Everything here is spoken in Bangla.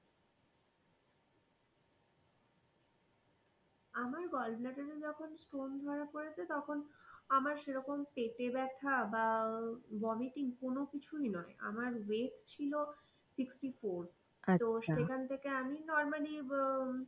আমার gallbladder এ যখন stone ধরা পড়েছে, তখন আমার সেই রকম পেটে ব্যথা বা vomiting কোনো কিছুই নয়, আমার weight ছিল sixty four সে খান থেকে আমি normally হম